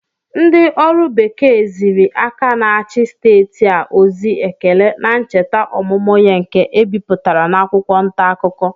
Ndị ọrụ bekee ziri aka na-achị steeti a ozi ekele na ncheta ọmụmụ ya nke e bipụtara n'akwụkwọ ntaakụkọ